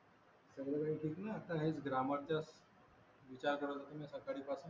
सगळं ठीक ना आता हे ग्रामर चा विचार करत होतो मी सकाळीपासून